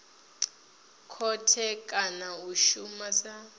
khothe kana a shuma sa